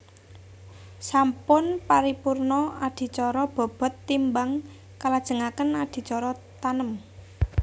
Sampun paripurna adicara bobot timbang kalajengaken adicara tanem